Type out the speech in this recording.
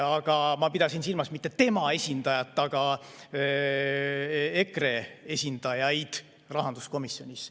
Aga ma pidasin silmas mitte tema esindajat, vaid EKRE esindajaid rahanduskomisjonis.